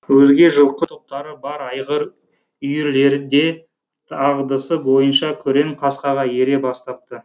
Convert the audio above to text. өзге жылқы топтары бар айғыр үйірлері де дағдысы бойынша күрең қасқаға ере бастапты